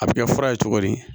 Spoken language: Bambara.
A bɛ kɛ fura ye cogo di